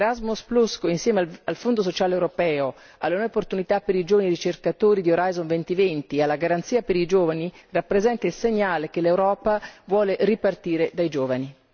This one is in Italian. Erasmus, insieme al Fondo sociale europeo, alle nuove opportunità per i giovani ricercatori di Orizzonte 2020 e alla Garanzia per i giovani, rappresenta il segnale che l'Europa vuole ripartire dai giovani.